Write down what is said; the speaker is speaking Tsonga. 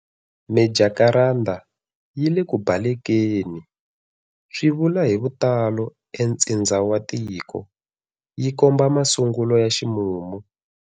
Mijakaranda yi le ku balekeni swi luva hi vutalo entsindza wa tiko, yi komba masungulo ya ximumu.